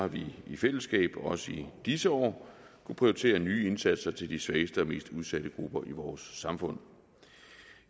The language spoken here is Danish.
vi i fællesskab også i disse år kunnet prioritere nye indsatser til de svageste og mest udsatte grupper i vores samfund